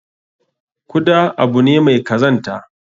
Kuda abu ne mai kazanta.